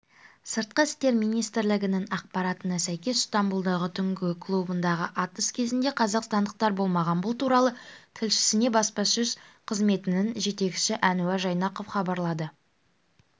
сыртқы істер министрлігінің ақпаратына сәйкес стамбұлдағы түнгі клубындағы атыс кезінде қазақстандықтар болмаған бұл туралы тілшісіне баспасөз қызметінің жетекшісі әнуар жайнақов хабарлады